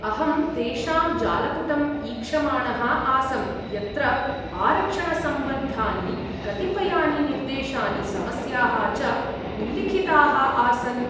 अहं तेषां जालपुटम् ईक्षमाणः आसं, यत्र आरक्षणसम्बद्धानि कतिपयानि निर्देशानि, समयाः च उल्लिखिताः आसन्।